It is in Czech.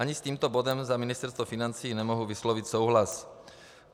Ani s tímto bodem za Ministerstvo financí nemohu vyslovit souhlas.